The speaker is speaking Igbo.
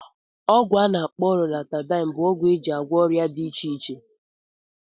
ọgwụ ana akpo Loratadine bụ ọgwụ eji agwọ ọrịa dị iche iche.